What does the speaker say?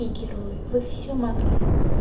и герои вы всё могли